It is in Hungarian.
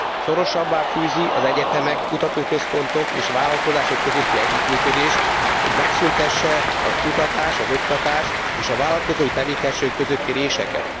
Szorosabbá fűzik az egyetemek, kutatóközpontok és vállalkozások közötti együttműködést, hogy megszüntessék a kutatás, az oktatás és a vállalkozói tevékenységek közötti réseket.